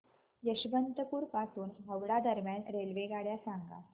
यशवंतपुर पासून हावडा दरम्यान रेल्वेगाड्या सांगा